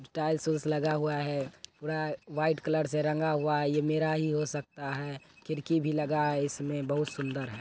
टाइल्स उल्स लगा हुआ है। पूरा व्हाइट कलर से रंग हुआ है। ये मेरा ही हो सकता है। खिड़की भी लगा है इसमे बहुत सुंदर है ।